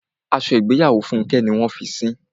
Aṣọ ìgbéyàwó Fúnkẹ́ ni wọ́n a fi sín.